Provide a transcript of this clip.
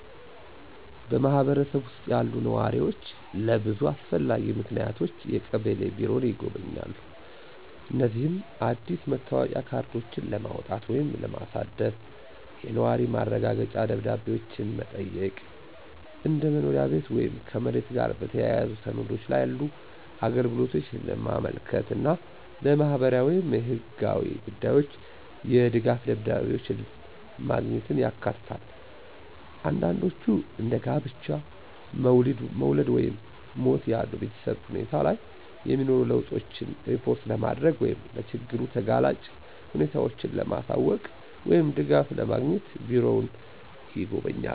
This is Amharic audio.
በማህበረሰቡ ውስጥ ያሉ ነዋሪዎች ለብዙ አስፈላጊ ምክንያቶች የቀበሌ ቢሮን ይጎበኛሉ። እነዚህም አዲስ የመታወቂያ ካርዶችን ለማውጣት ወይም ለማሳደስ፣ የነዋሪ ማረጋገጫ ደብዳቤዎችን መጠየቅ፣ እንደ መኖሪያ ቤት ወይም ከመሬት ጋር የተያያዙ ሰነዶች ላሉ አገልግሎቶች ለማመልከት እና ለማህበራዊ ወይም ህጋዊ ጉዳዮች የድጋፍ ደብዳቤዎችን ማግኘት ያካትታሉ። አንዳንዶች እንደ ጋብቻ፣ መውለድ ወይም ሞት ያሉ በቤተሰብ ሁኔታ ላይ የሚኖሩ ለውጦችን ሪፖርት ለማድረግ ወይም ለችግር ተጋላጭ ሁኔታዎችን ለማሳወቅ ወይም ድጋፍን ለማግኘት ቢሮውን ይጎበኛሉ።